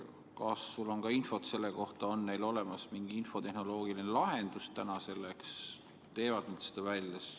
Kas sul on infot selle kohta, kas neil on selleks olemas mingi infotehnoloogiline lahendus või nad teevad seda?